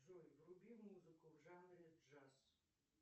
джой вруби музыку в жанре джаз